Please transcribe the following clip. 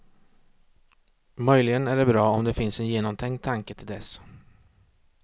Möjligen är det bra om det finns en genomtänkt tanke till dess.